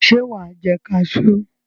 Ṣé wà á jẹ kaṣú?